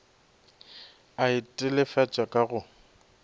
a e telefatša ka go